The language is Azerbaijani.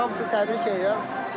Yəni hamısını təbrik eləyirəm.